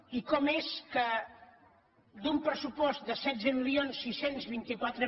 i com és que d’un pressupost de setze mil sis cents i vint quatre